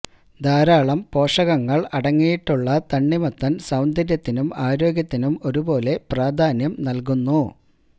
ധാരാളം പോഷകങ്ങള് അടങ്ങിയിട്ടുള്ള തണ്ണിമത്തന് സൌന്ദര്യത്തിനും ആരോഗ്യത്തിനും ഒരു പോലെ പ്രാധാന്യം നല്കുന്നു